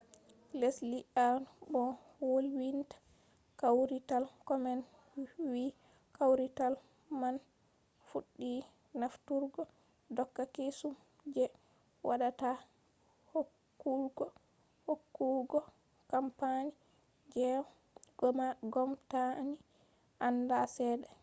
lesli awn mo wolwinta kawrital komen wi kawrital man fuɗɗi nafturgo doka kesum je haɗata hokkugo kampani je w-gomnati anda cede